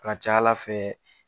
A ca Ala fɛ